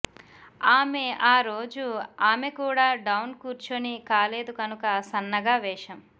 ఆమె ఆ రోజు ఆమె కూడా డౌన్ కూర్చుని కాలేదు కనుక సన్నగా వేషం